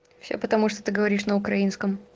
все потому что ты говоришь на украинском